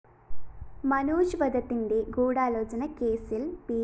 മനോജ് വധത്തിന്റെ ഗൂഢാലോചന കേസില്‍ പി